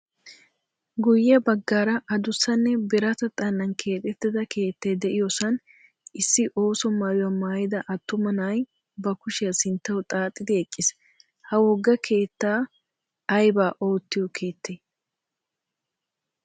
Guyye baggara adussanne birata xallan keexettida keettay de"iyoosan issi ooso maayuwa maayida attuma na'ay ba kushiyaa sinttawu xaaxidi eqqis. Ha wogga keetta aybaa oottiyo keettay?